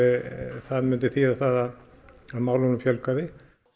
það myndi þýða það að málunum fjölgaði